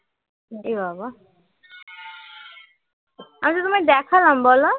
আমি তো তোমায় দেখালাম বল